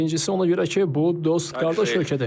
Birincisi ona görə ki, bu dost qardaş ölkədir.